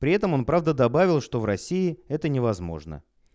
при этом он правда добавил что в россии это невозможно